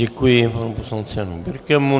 Děkuji panu poslanci Janu Birkemu.